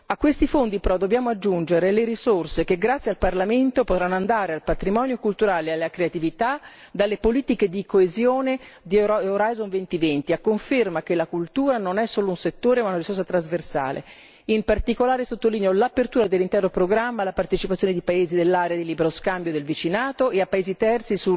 A questi fondi, però, dobbiamo aggiungere le risorse che, grazie al Parlamento, potranno andare al patrimonio culturale e alla creatività dalle politiche di coesione di Orizzonte 2020, a conferma che la cultura non è solo un settore ma una risorsa trasversale. In particolare, sottolineo l'apertura dell'intero programma alla partecipazione di paesi dell'area di libero scambio e del vicinato e a paesi terzi